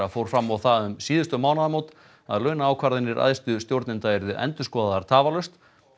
fór fram á það um síðustu mánaðamót að launaákvarðanir æðstu stjórnenda yrðu endurskoðaðar tafarlaust